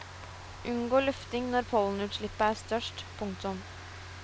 Unngå lufting når pollenutslippet er størst. punktum